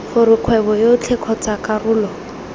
gore kgwebo yotlhe kgotsa karolo